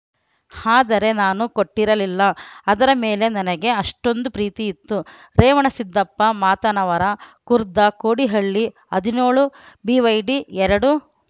ಆದರೆ ನಾನು ಕೊಟ್ಟಿರಲಿಲ್ಲ ಅದರ ಮೇಲೆ ನನಗೆ ಅಷ್ಟೊಂದು ಪ್ರೀತಿಯಿತ್ತು ರೇವಣಸಿದ್ಧಪ್ಪ ಮಾತನವರ ಖುರ್ದ ಕೋಡಿಹಳ್ಳಿ ಹದಿನೇಳು ಬಿವೈಡಿ ಎರಡು